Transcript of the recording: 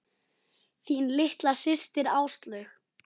Þín litla systir, Áslaug.